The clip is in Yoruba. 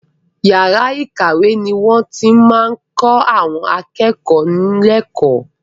Yàrá ìkàwé ni wọ́n ti máa ń kọ àwọn akẹ́kọ̀ọ́ lẹ́kọ̀ọ́.